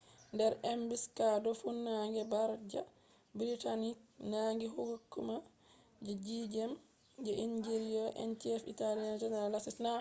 der ambush fuunange bardia british nangi hukuma je tenth je italian engineer-in-chief general lastucci